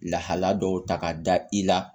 Lahala dɔw ta ka da i la